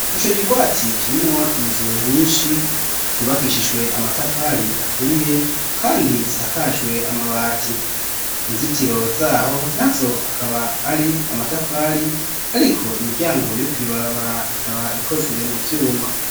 Ico kigwati kirimwo inzu nyinshi zubakishijwe amatafari aturiye kandi zisakajwe amabati inzitiro zaho na zo akaba ari amatafari ariko imiryango yo kwibabara ikaba ikozwe mu vyuma.